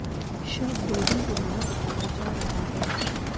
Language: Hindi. शव दो दिन पुराना बताया जा रहा है